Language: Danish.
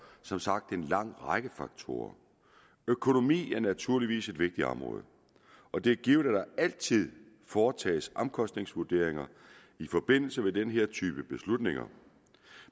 som sagt en lang række faktorer økonomi er naturligvis et vigtigt område og det er givet at der altid foretages omkostningsvurderinger i forbindelse med den her type beslutninger